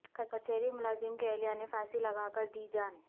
کچہری ملازم کی اہلیہ نے پھانسی لگاکر دی جان